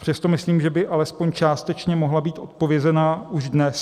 Přesto myslím, že by alespoň částečně mohla být odpovězena už dnes.